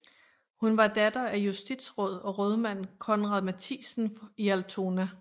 Hun var datter af justitsråd og rådmand Conrad Matthiesen i Altona